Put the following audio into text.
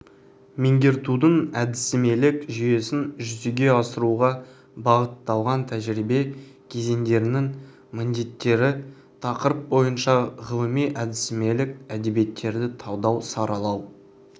меңгертудің әдістемелік жүйесін жүзеге асыруға бағытталған тәжірибе кезеңдерінің міндеттері тақырып бойынша ғылыми әдістемелік әдебиеттерді талдау саралау